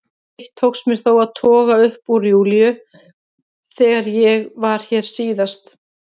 Eitt tókst mér þó að toga upp úr Júlíu þegar ég var hér síðast.